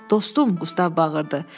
Dostum, Qustav bağırdı.